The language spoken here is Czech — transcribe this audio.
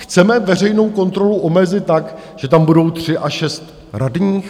Chceme veřejnou kontrolu omezit tak, že tam budou tři a šest radních?